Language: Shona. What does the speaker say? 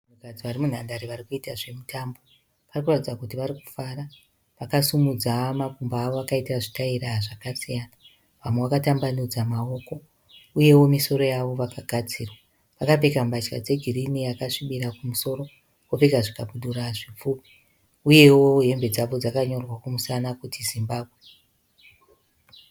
Vanhu varimunhandare varikuita zvemutambo. Varikuratidza kuti varikufara. Vakasimudza makumbo avo vakaita zvitaira zvakasiyana. Vamwe vakatambanudza maoko. Uyewo misoro yavo vakagadzirwa . Vakapfeka mbatya dze girinhi yakasvibira kumusoro. Vopfeka zvikabudura zvipfupi. Uyewo hembe dzavo dzakanyorwa kumusana kuti Zimbabwe.